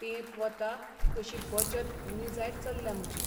तेंप वता तशी बचत उणी जायत चल्ल्या म्हजी.